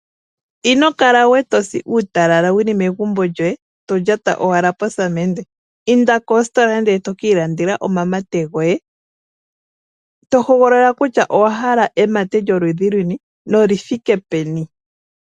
Inokala we tosi uutalala wuli megumbo lyoye, to lyata owala posaamende. Inda kositola nde tokiilandela omamate goye, tohogolola kutya owa hala emate lyoludhi luni, nolithike peni.